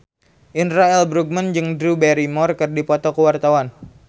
Indra L. Bruggman jeung Drew Barrymore keur dipoto ku wartawan